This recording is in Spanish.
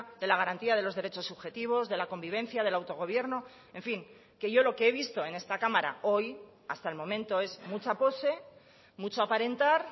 de la garantía de los derechos subjetivos de la convivencia de la autogobierno en fin que yo lo que he visto en esta cámara hoy hasta el momento es mucha pose mucho aparentar